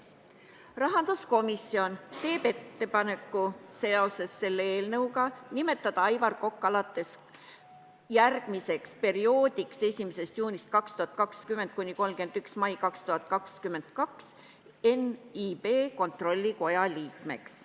Rahanduskomisjon teeb seoses selle eelnõuga ettepaneku nimetada Aivar Kokk ka järgmiseks perioodiks, 1. juunist 2020 kuni 31. maini 2022 NIB kontrollkomitee liikmeks.